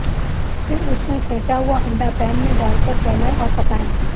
फिर उसमें फेंटा हुआ अंडा पैन में डाल कर फैलाएं और पकाएं